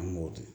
An m'o to